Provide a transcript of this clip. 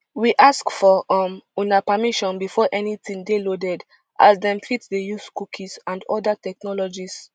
we ask for um una permission before anytin dey loaded as dem fit dey use cookies and oda technologies